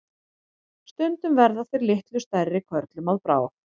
Stundum verða þeir litlu stærri körlum að bráð.